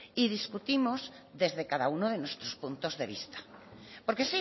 y discutimos desde cada uno de nuestros puntos de vista porque